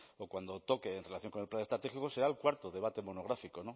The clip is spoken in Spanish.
o cuando toque en relación con el plan estratégico será el cuarto debate monográfico